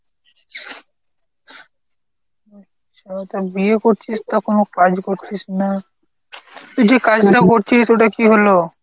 আচ্ছা্ তা বিয়ে করছিস তো কোনো কাজ করছিস না! তুই যে কাজটা করছিস ওটা কী হল?